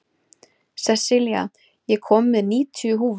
Sessilía, ég kom með níutíu húfur!